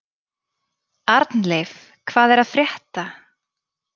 Arnleif, hvað er að frétta?